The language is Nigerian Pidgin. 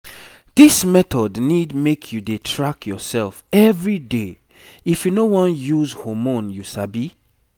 this method need make you dey track yourself everyday if you no wan use hormone you sabi?